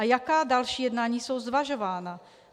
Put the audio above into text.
A jaká další jednání jsou zvažována?